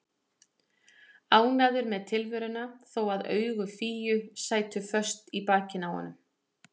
Ánægður með tilveruna þó að augu Fíu sætu föst í bakinu á honum.